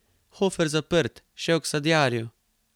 Hofer zaprt, šel k sadjarju.